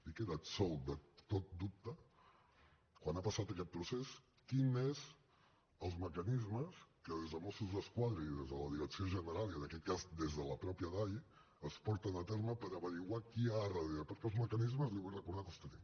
i queda absolt de tot dubte quan ha passat aquest procés quins són els mecanismes que des de mossos d’esquadra i des de la direcció general i en aquest cas des de la mateixa dai es porten a terme per esbrinar qui hi ha darrere perquè els mecanismes li vull recordar que els tenim